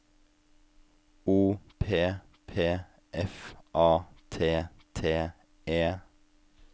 O P P F A T T E